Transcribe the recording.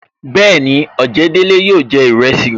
Bẹẹni, ojedele yóò jẹ iresi